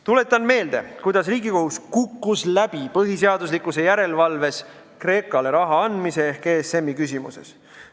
Tuletan meelde, kuidas Riigikohus kukkus Kreekale raha andmise ehk ESM-i küsimuses põhiseaduslikkuse järelevalves läbi.